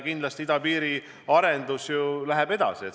Idapiiri arendusega minnakse kindlasti edasi.